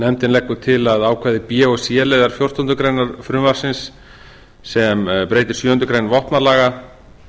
nefndin leggur til að ákvæði b og c liðar fjórtándu greinar frumvarpsins sem breytir sjöundu greinar vopnalaga